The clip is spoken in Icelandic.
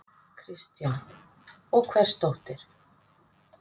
Kristján: Og hvers dóttir?